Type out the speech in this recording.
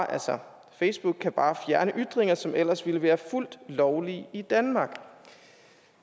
altså facebook kan bare fjerne ytringer som ellers ville være fuldt lovlige i danmark